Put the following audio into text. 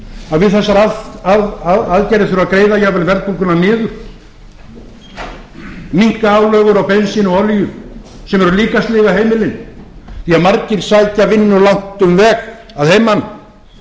að við þessar aðstæður þurfi að greiða jafnvel verðbólguna niður minnka álögur á bensín og olíu sem eru líka að sliga heimilin því að margir sækja vinnu langt um veg að heiman og